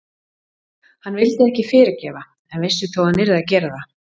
Hann vildi ekki fyrirgefa en vissi þó að hann yrði að gera það.